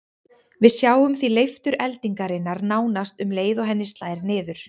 Við sjáum því leiftur eldingarinnar nánast um leið og henni slær niður.